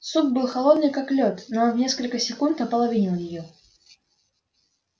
суп был холодный как лёд но он в несколько секунд ополовинил её